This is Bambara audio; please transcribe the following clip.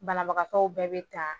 Banabagaw bɛɛ bɛ ta